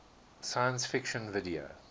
science fiction video